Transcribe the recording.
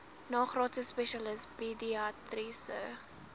nagraadse spesialis pediatriese